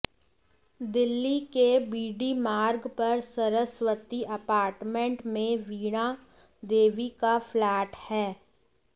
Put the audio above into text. दिल्ली के बीडी मार्ग पर सरस्वती अपार्टमेंट में वीणा देवी का फ्लैट है